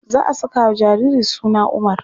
Za a sakawa jariri suna Umar.